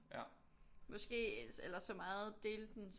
Måske eller så meget dele den